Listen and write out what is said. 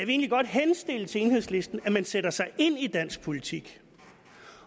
egentlig godt henstille til enhedslisten at man sætter sig ind i dansk politik